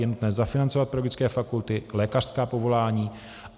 Je nutné zafinancovat pedagogické fakulty, lékařská povolání.